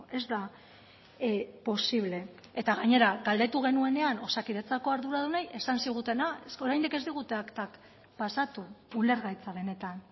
ez da posible eta gainera galdetu genuenean osakidetzako arduradunei esan zigutena oraindik ez digute aktak pasatu ulergaitza benetan